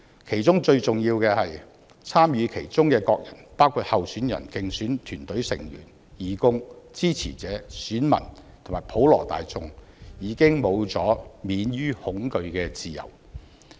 其中最重要的是，參與其中的各人，包括候選人、競選團成員、義工、支持者、選民，以及普羅大眾已經沒有了免於恐懼的自由。